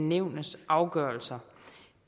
nævnets afgørelser